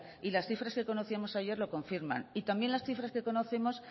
y las cifras que conocimos ayer lo confirman y también las cifras que conocemos